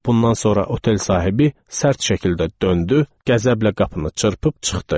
Bundan sonra otel sahibi sərt şəkildə döndü, qəzəblə qapını çırpıb çıxdı.